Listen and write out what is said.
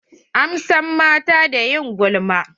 An san mata da ƴin gulma.